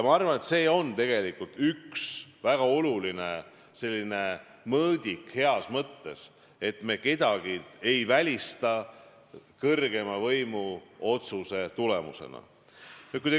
Ma arvan, et see on üks väga oluline mõõdik heas mõttes, et me kedagi kõrgema võimu otsuse tulemusena ei välista.